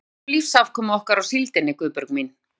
Af því að við byggjum lífsafkomu okkar á síldinni, Guðbjörg mín.